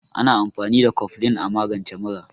Ana amfani da koflin a magance mura.